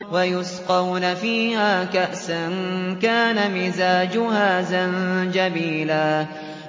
وَيُسْقَوْنَ فِيهَا كَأْسًا كَانَ مِزَاجُهَا زَنجَبِيلًا